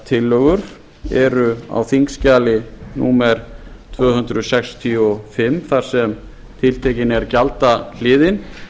breytingartillögur eru á þingskjali númer tvö hundruð sextíu og fimm þar sem tiltekin er gjaldahliðin